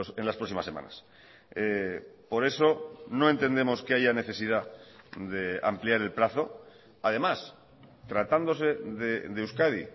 en las próximas semanas por eso no entendemos que haya necesidad de ampliar el plazo además tratándose de euskadi